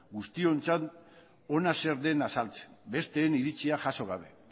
guztiontzat ona zer den azaltzeko besteen iritzia jaso gabe